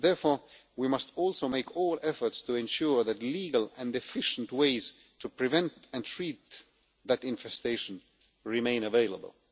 Therefore, we must also make every effort to ensure that legal and efficient ways to prevent and treat that infestation remain available.